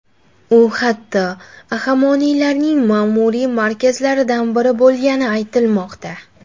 U hatto Ahamoniylarning ma’muriy markazlaridan biri bo‘lgani aytilmoqda.